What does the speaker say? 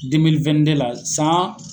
la san